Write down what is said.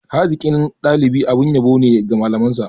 Hazikin dalibi abin yabo ne ga malamansa.